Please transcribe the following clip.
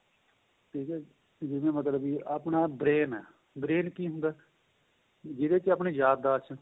ਠੀਕ ਏ ਜੀ ਜਿਵੇਂ ਮਤਲਬ ਕਿ ਆਪਣਾ brain ਏ brain ਕਿ ਹੁੰਦਾ ਜਿਹਦੇ ਵਿੱਚ ਆਪਣੀ ਯਾਦਦਾਸ਼